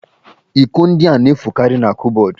Iko ndị a na-efukarị n'kụpbọdụ